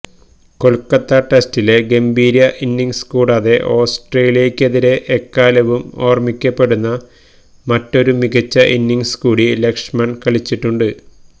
കൊല്ക്കത്ത ടെസ്റ്റിലെ ഗംഭീര ഇന്നിങ്്സ് കൂടാതെ ഓസ്ട്രേലിയക്കെതിരേ എക്കാലവും ഓര്മിക്കപ്പെടുന്ന മറ്റൊരു മികച്ച ഇന്നിങ്സ് കൂടി ലക്ഷ്മണ് കളിച്ചിട്ടുണ്ട്